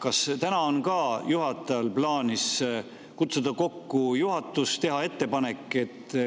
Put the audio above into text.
Kas täna on ka juhatajal plaanis kutsuda kokku juhatus ja teha ettepanek